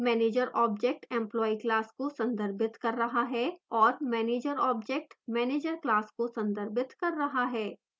manager object employee class को संदर्भित कर रहा है और manager object manager class को संदर्भित कर रहा है